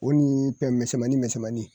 O ni ye pɛn misɛnmannin misɛnmannnin